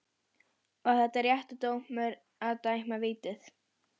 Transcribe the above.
Var þetta réttur dómur að dæma vítið?